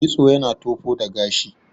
kitso yana tofo da gashi